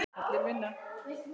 Allir vinna.